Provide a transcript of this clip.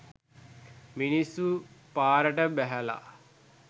මිනිස්සු පාරට බැහැලා.